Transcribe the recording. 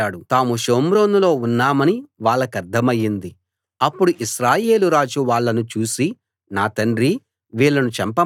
అప్పుడు ఇశ్రాయేలు రాజు వాళ్ళను చూసి నా తండ్రీ వీళ్ళను చంపమంటావా చంపెయ్యనా అని ఎలీషాని అడిగాడు